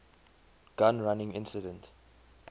gun running incident